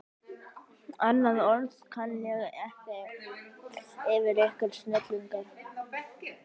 Annað orð kann ég ekki yfir ykkur: snillingar.